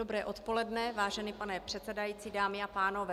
Dobré odpoledne, vážený pane předsedající, dámy a pánové.